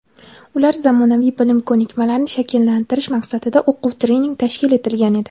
ularda zamonaviy bilim-ko‘nikmalarni shakllantirish maqsadida o‘quv-trening tashkil etilgan edi.